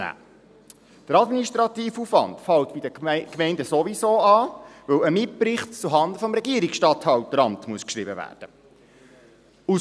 Der administrative Aufwand fällt bei den Gemeinden sowieso an, weil ein Mitbricht zuhanden des Regierungsstatthalteramts geschrieben werden muss.